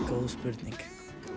góð spurning